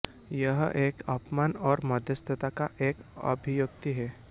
यह एक अपमान और मध्यस्थता का एक अभिव्यक्ति है